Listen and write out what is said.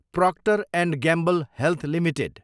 proctor and Gamble Health limited